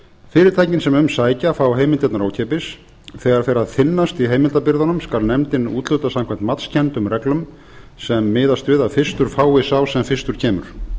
fyrirtækin sem um sækja fá heimildirnar ókeypis þegar fer að þynnast í heimildabirgðunum skal nefndin úthluta samkvæmt matskenndum reglum sem miðast við að fyrstur fái sá sem fyrstur kemur